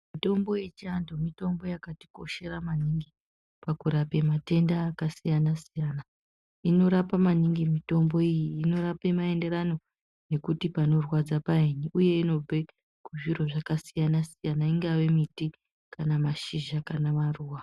Mitombo yechianthu mitombo yakatikoshera maningi pakurape matenda akasiyana siyana. Inorape maningi mitombo iyi, inorape maendera nekuti panorwadza painyi uye inope zviro zvakasiyana siyana ingvave miti, kana mashizha, kana maruwa.